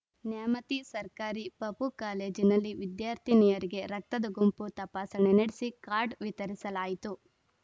ನ್ಯಾಮತಿ ಸರ್ಕಾರಿ ಪಪೂ ಕಾಲೇಜಿನಲ್ಲಿ ವಿದ್ಯಾರ್ಥಿನಿಯರಿಗೆ ರಕ್ತದ ಗುಂಪು ತಪಾಸಣೆ ನಡೆಸಿ ಕಾರ್ಡ್‌ ವಿತರಿಸಲಾಯಿತು